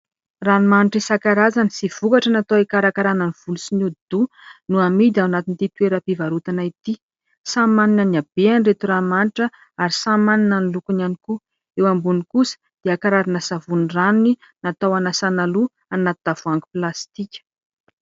Ranomanitra isankarazany sy vokatra natao hikarakarana ny volo sy ny hodi-doha no amidy ao anatin'ity toeram-pivarotana ity. Samy manana ny habeany ireto ranomanitra ary samy manana ny lokony ihany koa, eo ambony kosa dia karazana savony ranony natao hanasana loha anaty tavoahangy plastika.